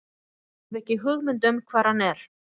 Ég hef ekki hugmynd um hvar hann er.